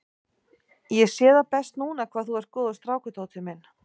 Ég sé það best núna hvað þú ert góður strákur, Tóti minn.